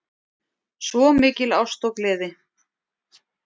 Svo mikil ást og gleði